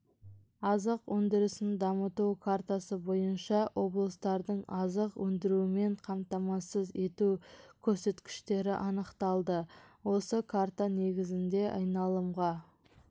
азық өндірісін дамыту картасы бойынша облыстардың азық өндірумен қамтамасыз ету көрсеткіштері анықталды осы карта негізінде айналымға